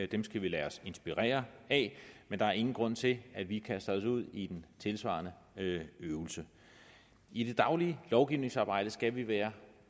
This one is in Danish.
dem skal vi lade os inspirere af men der er ingen grund til at vi kaster os ud i den tilsvarende øvelse i det daglige lovgivningsarbejde skal vi være